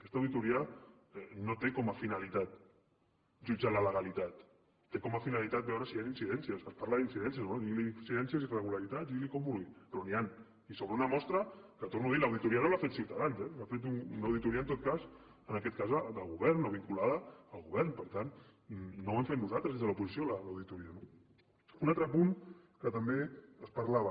aquesta auditoria no té com a finalitat jutjar la legalitat té com a finalitat veure si hi han incidències es parla d’incidència o bé diguili incidències irregularitats digui li com vulgui però n’hi han i sobre una mostra que ho torno a dir l’auditoria no l’ha feta ciutadans eh l’ha fet una auditoria en aquest cas del govern o vinculada al govern per tant no l’hem feta nosaltres des de l’oposició l’auditoria no un altre punt de què també es parlava